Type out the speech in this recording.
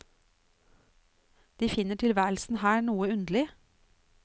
De finner tilværelsen her noe underlig.